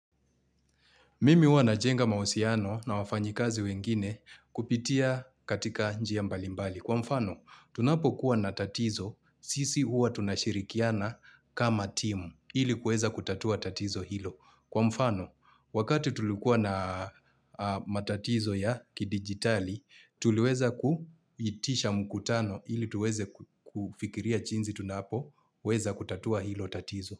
Mimi huwa na jenga mahusiano na wafanyikazi wengine, kupitia katika njia mbalimbali. Kwa mfano, tunapo kuwa na tatizo, sisi huwa tunashirikiana kama team, ili kuweza kutatua tatizo hilo. Kwa mfano, wakati tulikuwa na matatizo ya kidigitali, tuliweza kuitisha mkutano ili tuweze kufikiria jinsi tunapoweza kutatua hilo tatizo.